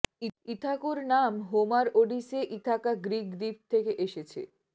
ইথাকাের নাম Homer Odyssey Ithaca Greek দ্বীপ থেকে এসেছে